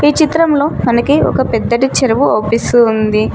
ఈ చిత్రంలో మనకి ఒక పెద్దటి చెరువు ఆవుపిస్తూ ఉంది.